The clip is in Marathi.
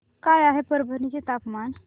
काय आहे परभणी चे तापमान